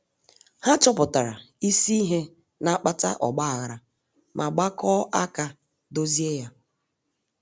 Ha chọpụtara isi ihe na-akpata ọgba aghara ma gbakọọ aka dozie ya.